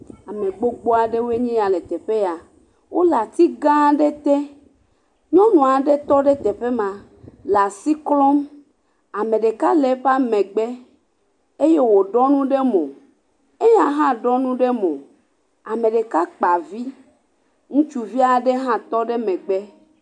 Ame gbogbo aɖewoe ya le teƒe ya, wole ati gã aɖe te, nyɔnu aɖe tɔ ɖe teƒe le asi klɔm, ame ɖeka le eƒe megbe eye wòɖɔ nu ɖe mo, eye hã ɖɔ nu ɖe mo, ame ɖeka kpa vi, ŋutsuvi aɖe hã tɔ megbe.